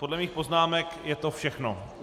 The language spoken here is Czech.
Podle mých poznámek je to všechno.